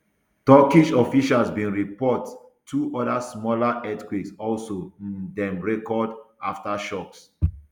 turkish officials bin report two oda smaller earthquakes also um dem record aftershocks